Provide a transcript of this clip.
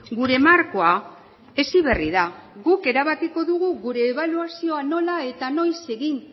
gure markoa heziberri da guk erabakiko dugu gure ebaluazioa nola eta noiz egin